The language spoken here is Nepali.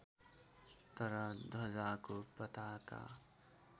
तर ध्वजाको पताका